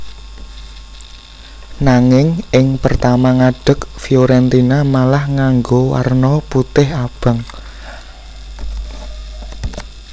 Nanging ing pertama ngadeg Fiorentina malah nganggo warna putih abang